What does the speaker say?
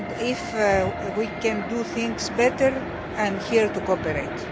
If we can do things better, I am here to cooperate.